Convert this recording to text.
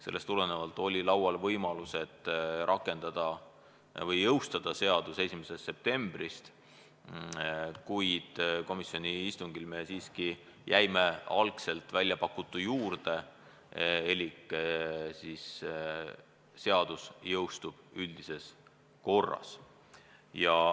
Seetõttu oli kõne all võimalus rakendada või jõustada seadus 1. septembrist, kuid komisjoni istungil me jäime siiski algselt väljapakutu juurde elik seadus jõustub üldises korras.